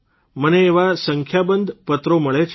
મને એવા સંખ્યાબંધ પત્રો મળે છે